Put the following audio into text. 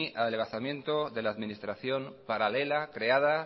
adelgazamiento de la administración paralela creada